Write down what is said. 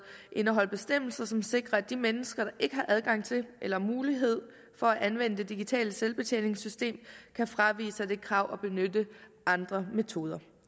indeholder bestemmelser som sikrer at de mennesker der ikke har adgang til eller mulighed for at anvende det digitale selvbetjeningssystem kan fravige kravet og benytte andre metoder